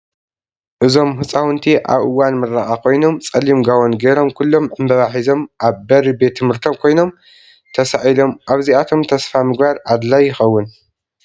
እዞም ሕፃውንቲ ኣብ እዋን ምረቃ ኮይኖም ፀሊም ጋቦን ጌሮም ኩሎም ዕንበባ ሒዞም ኣብ በሪ ቤት ትምህርቶም ኮይኖም ተሳኢሎም ኣብዚኣቶም ተስፋ ምግባር ኣድላይ ይከውን።